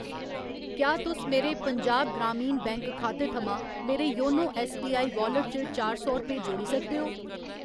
क्या तुस मेरे पंजाब ग्रामीण बैंक खाते थमां मेरे योनो ऐस्सबीआई वालेट च चार सौ रपेऽ जोड़ी सकदे ओ ?